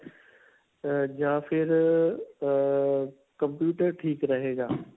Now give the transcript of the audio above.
ਅਅ ਜਾਂ ਫਿਰ ਅਅ ਅਅ computer ਠੀਕ ਰਹੇਗਾ?